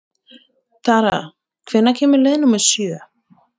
Tara, hvenær kemur leið númer sjö?